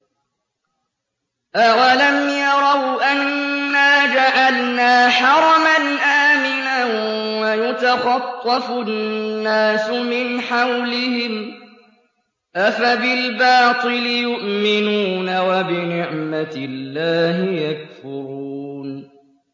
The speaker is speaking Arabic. أَوَلَمْ يَرَوْا أَنَّا جَعَلْنَا حَرَمًا آمِنًا وَيُتَخَطَّفُ النَّاسُ مِنْ حَوْلِهِمْ ۚ أَفَبِالْبَاطِلِ يُؤْمِنُونَ وَبِنِعْمَةِ اللَّهِ يَكْفُرُونَ